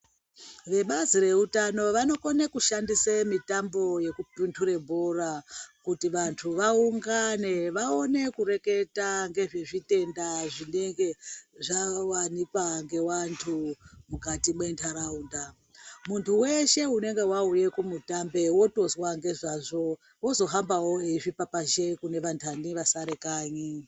Vebazi reutano vanokone kushandise mitambo yekupunhure bhora kuti vantu vaungane vaone kureketa ngezvezvitenda zvinenge zvawanikwa ngevantu mukati mwenharaunda ,munhu weshe unenge wauye kumutambo wotozwa ngezvazvo wozohambawo weizvipapazhe kune vanhani vasare kanyi.